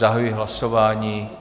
Zahajuji hlasování.